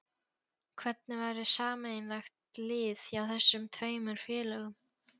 Hvernig væri sameiginlegt lið hjá þessum tveimur félögum?